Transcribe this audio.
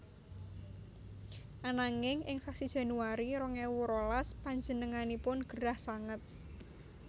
Ananging ing sasi Januari rong ewu rolas panjenenganipun gerah sanget